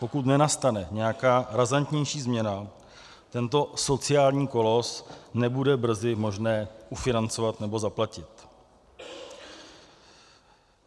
Pokud nenastane nějaká razantnější změna, tento sociální kolos nebude brzy možné ufinancovat nebo zaplatit.